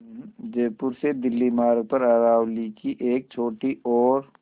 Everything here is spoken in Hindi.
जयपुर से दिल्ली मार्ग पर अरावली की एक छोटी और